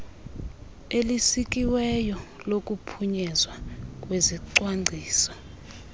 elisikiweyo lokuphunyezwa kwezicwangciso